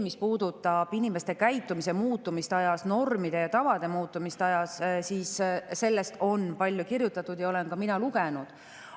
Mis puudutab inimeste käitumise muutumist ajas, normide ja tavade muutumist ajas, siis sellest on palju kirjutatud ja seda olen ka mina lugenud.